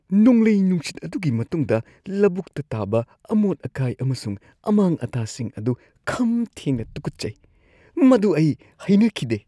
ꯅꯣꯡꯂꯩ-ꯅꯨꯡꯁꯤꯠ ꯑꯗꯨꯒꯤ ꯃꯇꯨꯡꯗ ꯂꯧꯕꯨꯛꯇ ꯇꯥꯕ ꯑꯃꯣꯠ-ꯑꯀꯥꯏ ꯑꯃꯁꯨꯡ ꯑꯃꯥꯡ-ꯑꯇꯥꯁꯤꯡ ꯑꯗꯨ ꯈꯝ ꯊꯦꯡꯅ ꯇꯨꯀꯠꯆꯩ, ꯃꯗꯨ ꯑꯩ ꯍꯩꯅꯈꯤꯗꯦ꯫